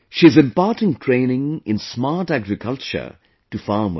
She is imparting training in smart agriculture to farmers